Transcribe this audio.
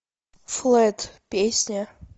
флэт песня